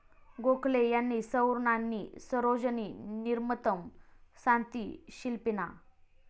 गोखले यांनी 'सौवर्णानी सरोजनी निर्मतम् सांति शिल्पीनाः.